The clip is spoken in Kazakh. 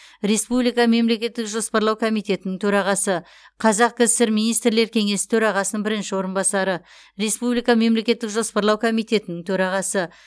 республика мемлекеттік жоспарлау комитетінің төрағасы қазақ кср министрлер кеңесі төрағасының бірінші орынбасары республика мемлекеттік жоспарлау комитетінің төрағасы